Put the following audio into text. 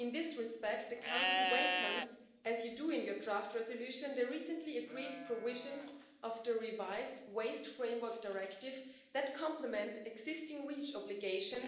In this respect, the Council welcomes, as you do in your draft resolution, the recently agreed provisions of the revised Waste Framework Directive that complement existing REACH obligations